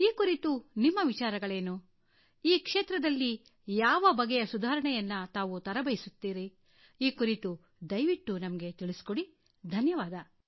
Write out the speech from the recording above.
ಈ ಕುರಿತು ನಿಮ್ಮ ವಿಚಾರಗಳೇನು ಈ ಕ್ಷೇತ್ರದಲ್ಲಿ ಯಾವ ಬಗೆಯ ಸುಧಾರಣೆಯನ್ನು ತಾವು ತರಬಯಸುತ್ತೀರಿ ಈ ಕುರಿತು ದಯವಿಟ್ಟು ನಮಗೆ ತಿಳಿಸಿಕೊಡಿ ಧನ್ಯವಾದ